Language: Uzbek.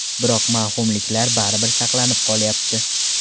Biroq mavhumliklar baribir saqlanib qolyapti.